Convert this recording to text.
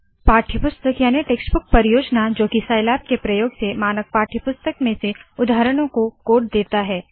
पाठ्यपुस्तक याने टेक्स्टबुक परियोजना जोकि साइलैब के प्रयोग से मानक पाठ्यपुस्तक में से उदाहरणों को कोड देता है